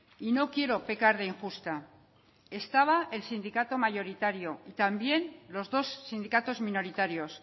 y no quiero pecar de injusta estaba el sindicato mayoritario y también los dos sindicatos minoritarios